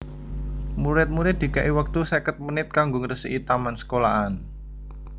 Murid murid dikei wektu seket menit kanggo ngresiki taman sekolahan